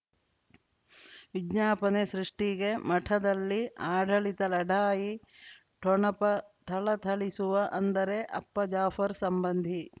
ವಿಜ್ಞಾಪನೆ ಸೃಷ್ಟಿಗೆ ಮಠದಲ್ಲಿ ಆಡಳಿತ ಲಢಾಯಿ ಠೊಣಪ ಥಳಥಳಿಸುವ ಅಂದರೆ ಅಪ್ಪ ಜಾಫರ್ ಸಂಬಂಧಿ